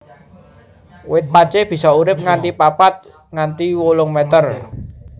Wit pacé bisa urip nganti papat nganti wolung meter